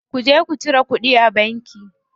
Ku je ku cire kuɗi a banki.